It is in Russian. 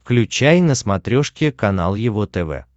включай на смотрешке канал его тв